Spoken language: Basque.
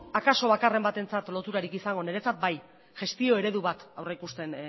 akaso bakarren batentzat loturarik izango baina niretzat bai gestio eredu bat aurreikusten